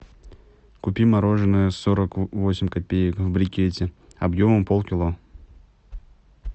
купи мороженое сорок восемь копеек в брикете объемом полкило